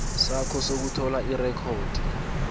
sakho sokuthola irekhodi